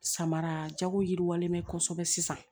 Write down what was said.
Samara jago yiriwalen bɛ kosɛbɛ sisan